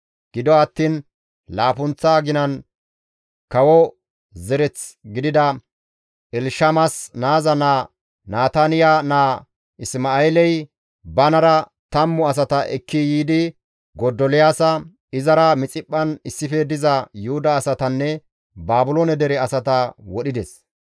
Gido attiin laappunththa aginan kawo zereth gidida Elshamas naaza naa Nataniya naa Isma7eeley banara tammu asata ekki yiidi Godoliyaasa, izara Mixiphphan issife diza Yuhuda asatanne Baabiloone dere asata wodhides.